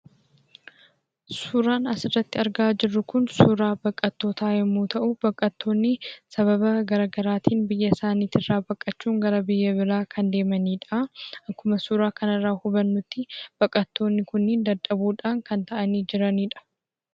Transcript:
Suuraan asirratti argaa jirru kun suuraa baqattootaa yoo ta'u, baqattoonni sababa garaagaraatiin biyya isaaniirraa baqachuun gara biyya biraa kan deemanidha. Akkuma suuraa kanarraa hubannutti, baqattoonni kunneen dadhabuudhaan kanneen taa'anii jiraniidha.